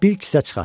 Bir kisə çıxartdı.